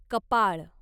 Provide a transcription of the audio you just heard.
कपाळ